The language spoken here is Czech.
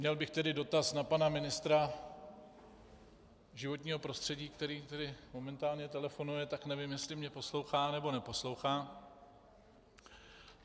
Měl bych tedy dotaz na pana ministra životního prostředí - který momentálně telefonuje, tak nevím, jestli mě poslouchá, nebo neposlouchá.